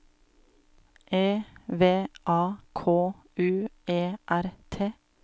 E V A K U E R T